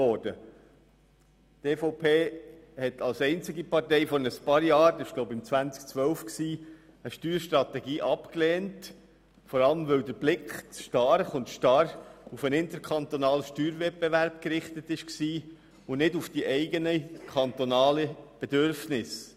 Die EVP hat als einzige Partei vor ein paar Jahren – ich glaube, es war 2012 – eine Steuerstrategie abgelehnt, vor allem, weil der Blick zu stark und zu starr auf den interkantonalen Steuerwettbewerb gerichtet war und nicht auf die eigenen, kantonalen Bedürfnisse.